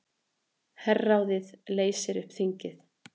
Herráðið leysir upp þingið